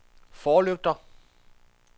forlygter